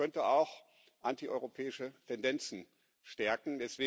Das könnte auch antieuropäische Tendenzen stärken.